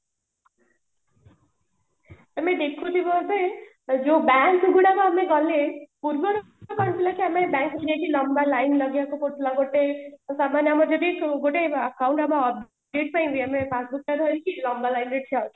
ତମେ ଦେଖୁଥିବ ଏବେ ଯୋଉ bank ଗୁଡାକ ଆମେ ଗଲେ ପୂର୍ବ ରୁ କଣ ଥିଲା କି ଆମେ bank ରେ ଯାଇକି ଲମ୍ବା line ଲଗେଇବାକୁ ପଡୁଥିଲା ଗୋଟେ ସାମାନ୍ଯ ଆମ ଯଦି ଗୋଟେ account ଆମ update ପାଇଁ ବି passbook ଟା ଧରିକି ଲମ୍ବା line ରେ ଠିଆ ହୋଉଛୁ